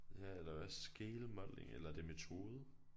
Ja eller hvad scale modeling eller er det metode